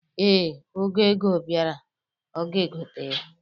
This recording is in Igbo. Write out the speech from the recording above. Ee, oge ego bịara, ọ gaegote ya.